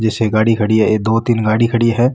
जिससे गाड़ी खड़ी है दो तीन गाड़ी खड़ी है।